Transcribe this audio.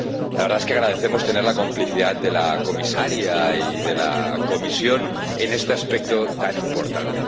La verdad es que agradecemos tener la complicidad de la Comisaria y de la Comisión en este aspecto tan importante.